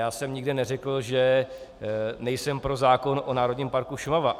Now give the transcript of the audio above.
Já jsem nikde neřekl, že nejsem pro zákon o Národním parku Šumava.